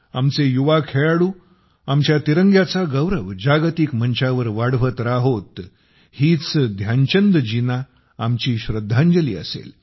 आमचे युवा खेळाडू आमच्या तिरंग्याचा गौरव जागतिक मंचावर वाढवत राहोत हीच ध्यानचंदजींना आमची श्रद्धांजली असेल